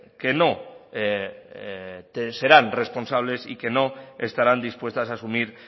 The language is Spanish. que no te serán responsables y que no estarán dispuestas a asumir